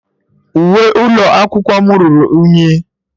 Uwe ụlọ akwụkwọ m ruru unyi.